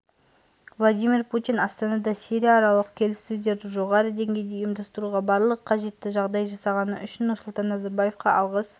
владимир путин астанада сирияаралық келіссөздерді жоғары деңгейде ұйымдастыруға барлық қажетті жағдайды жасағаны үшін нұрсұлтан назарбаевқа алғыс